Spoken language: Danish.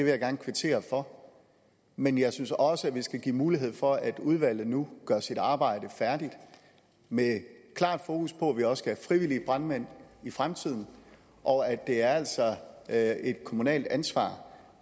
jeg gerne kvittere for men jeg synes også at vi skal give mulighed for at udvalget nu gør sit arbejde færdigt med klart fokus på at vi også skal have frivillige brandmænd i fremtiden og at det altså er et kommunalt ansvar